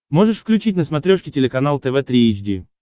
можешь включить на смотрешке телеканал тв три эйч ди